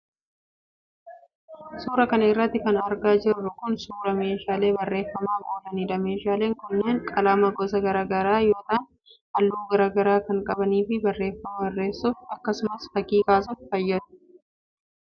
Suura kana irratti kan argaa jirru kun, suura meeshaalee barreeffamaaf oolaniidha. Meeshaaleen kunneen ,qalama gosa garaa garaa yoo ta'an ,haalluu garaa garaa kan qabanii fi barreeffama barreessuf akkasumas fakkii kaasuuf fayyadu.